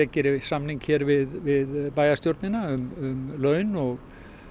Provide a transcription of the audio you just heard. geri samning hér við bæjarstjórnina um laun og